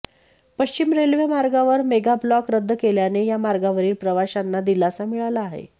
पश्चिम रेल्वे मार्गावर मेगाब्लॉक रद्द केल्याने या मार्गावरील प्रवाशांना दिलासा मिळाला आहे